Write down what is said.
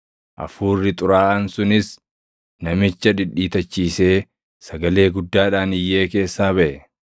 Hafuurri xuraaʼaan sunis namicha dhidhiitachiisee, sagalee guddaadhaan iyyee keessaa baʼe.